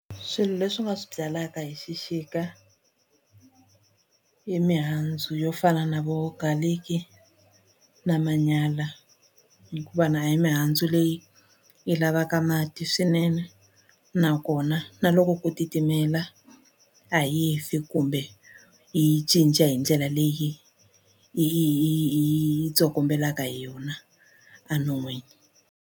Swilo leswi u nga swi byalaka hi xixika i mihandzu yo fana na vo garlic na manyala hikuva na a hi mihandzu leyi yi lavaka mati swinene nakona na loko ku titimela a yi fi kumbe yi cinca hi ndlela leyi yi yi yi tsokombelaka hi yona a non'wini.